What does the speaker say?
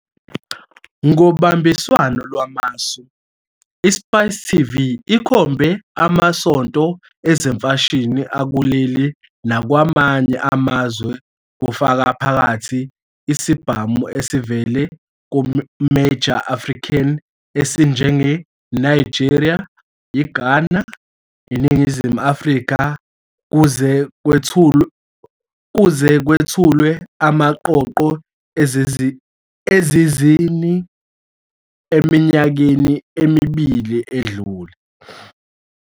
Ngobambiswano lwamasu, iSpice TV ikhombe amasonto ezemfashini akuleli nakwamanye amazwe kufaka phakathi isibhamu esivela kuMajor African esinjengeNigeria, iGhana, iNingizimu Afrika kuze kwethulwe amaqoqo ezizini eminyakeni emibili edlule.